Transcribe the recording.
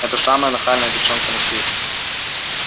это самая нахальная девчонка на свете